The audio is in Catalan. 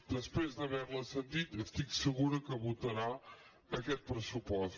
després d’haver la sentit estic segura que votarà aquest pressupost